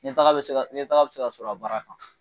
Ɲɛtaga bɛ se ka sɔrɔ a baara kan